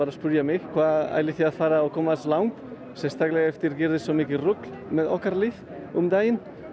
að spyrja mig hvað ætlið þið að fara og komast langt sérstaklega eftir gerðist svo mikið rugl með okkar lið um daginn